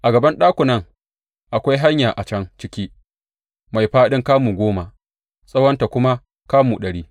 A gaban ɗakunan akwai hanya a can ciki mai fāɗin kamu goma, tsawonta kuma kamu ɗari.